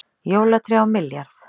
Jólatré á milljarð